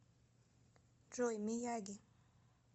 джой мияги